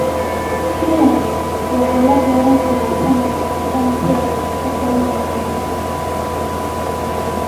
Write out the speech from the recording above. Spinach waxaa la beeran karaa sanadka oo dhan si ay u koraan wanaagsan.